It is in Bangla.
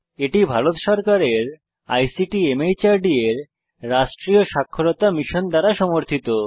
এটি ভারত সরকারের আইসিটি মাহর্দ এর রাষ্ট্রীয় সাক্ষরতা মিশন দ্বারা সমর্থিত